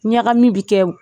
Ɲagamin bi kɛ